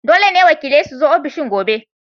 Dole ne wakilai su zo ofishin gobe!